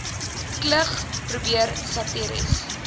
klug probeer satiries